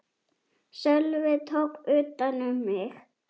Sölvi tók utan um mig.